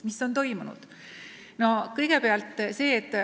Mis on toimunud?